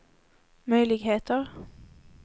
möjligheter